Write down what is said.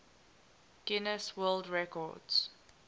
guinness world records